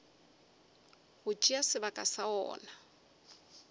go tšea sebaka sa wona